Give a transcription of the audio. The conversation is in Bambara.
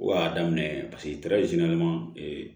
O y'a daminɛ ye paseke